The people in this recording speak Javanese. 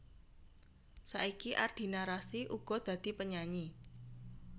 Saiki Ardina Rasti uga dadi penyanyi